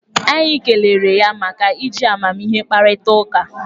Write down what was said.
Anyị kelere ya maka iji amamihe kparịta ụka